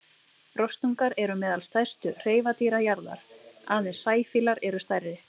Rostungar eru meðal stærstu hreifadýra jarðar, aðeins sæfílar eru stærri.